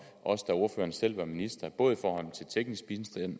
også da ordføreren selv var minister både i forhold til teknisk bistand